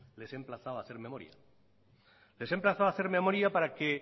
les he emplazado a hacer memoria les he emplazado a hacer memoria para que